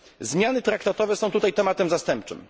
Zmiany traktatowe są tutaj tematem zastępczym.